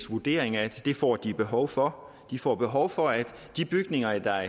vurdering at det får de behov for de får behov for at de bygninger der